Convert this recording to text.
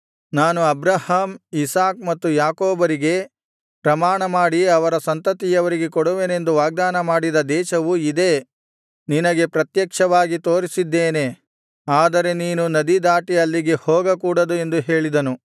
ನಾನು Abraham Isaac ಮತ್ತು ಯಾಕೋಬರಿಗೆ ಪ್ರಮಾಣಮಾಡಿ ಅವರ ಸಂತತಿಯವರಿಗೆ ಕೊಡುವೆನೆಂದು ವಾಗ್ದಾನಮಾಡಿದ ದೇಶವು ಇದೇ ನಿನಗೆ ಪ್ರತ್ಯಕ್ಷವಾಗಿ ತೋರಿಸಿದ್ದೇನೆ ಆದರೆ ನೀನು ನದಿ ದಾಟಿ ಅಲ್ಲಿಗೆ ಹೋಗಕೂಡದು ಎಂದು ಹೇಳಿದನು